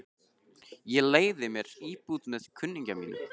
Ég leigði mér íbúð með kunningja mínum.